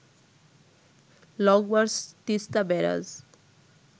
long march Teesta barrage